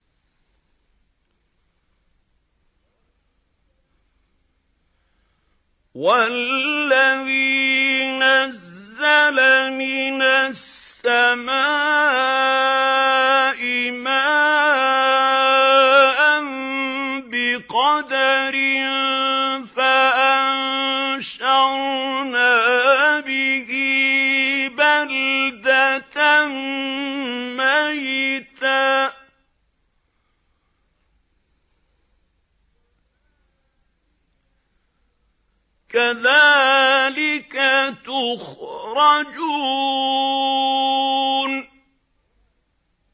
وَالَّذِي نَزَّلَ مِنَ السَّمَاءِ مَاءً بِقَدَرٍ فَأَنشَرْنَا بِهِ بَلْدَةً مَّيْتًا ۚ كَذَٰلِكَ تُخْرَجُونَ